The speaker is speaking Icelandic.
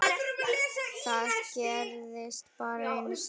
Það gerðist bara einu sinni.